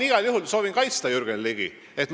Ma soovin Jürgen Ligi kaitsta.